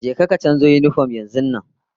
Je ka ka canzo yinifom yanzun nan!